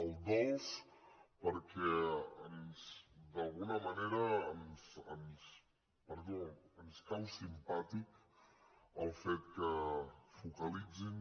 el dolç perquè d’alguna manera ens cau simpàtic el fet que focalitzin